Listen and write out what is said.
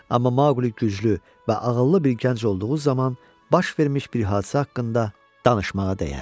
Amma Maqli güclü və ağıllı bir gənc olduğu zaman baş vermiş bir hadisə haqqında danışmağa dəyər.